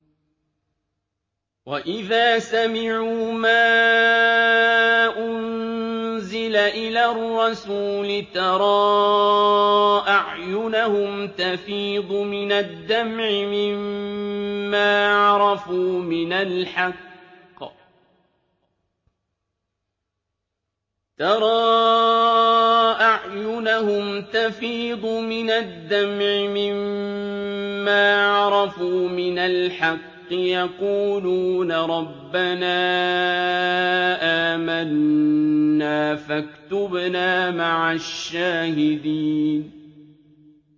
وَإِذَا سَمِعُوا مَا أُنزِلَ إِلَى الرَّسُولِ تَرَىٰ أَعْيُنَهُمْ تَفِيضُ مِنَ الدَّمْعِ مِمَّا عَرَفُوا مِنَ الْحَقِّ ۖ يَقُولُونَ رَبَّنَا آمَنَّا فَاكْتُبْنَا مَعَ الشَّاهِدِينَ